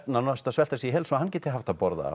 nánast að svelta sig í hel svo hann geti haft að borða